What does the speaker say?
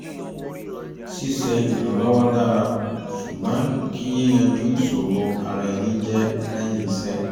ṣíṣe ìrànlọ́wọ́ dára ṣùgbọ́n kí yíyanjú ìṣòro ara ẹni jẹ́ lẹ́yìn ìṣẹ́